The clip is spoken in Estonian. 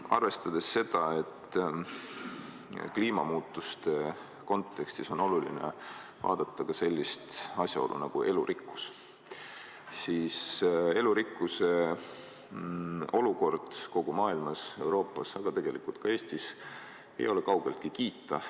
Arvestades seda, et kliimamuutuste kontekstis on oluline vaadata ka sellist asjaolu nagu elurikkus, ei ole elurikkuse olukord kogu maailmas, Euroopas, aga tegelikult ka Eestis kaugeltki kiita.